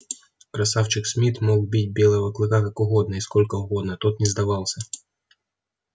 красавчик смит мог бить белого клыка как угодно и сколько угодно тот не сдавался